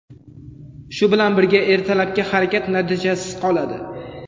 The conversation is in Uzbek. Shu bilan birga ertalabki harakat natijasiz qoladi.